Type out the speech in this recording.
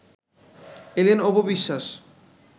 এলেন অপু বিশ্বাস